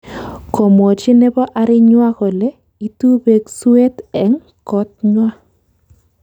Komwochi nebo arinywa kole itu beek suet eng kotnywa